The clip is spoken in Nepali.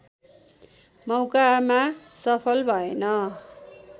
मौकामा सफल भएन